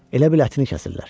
Elə bil ətini kəsirlər.